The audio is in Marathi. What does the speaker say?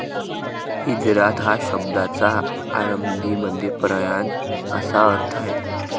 हिजरात या शब्दाचा अरबीमध्ये प्रयाण असा अर्थ आहे.